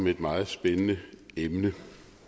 om et meget spændende emne